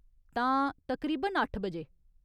तां, तकरीबन अट्ठ बजे ?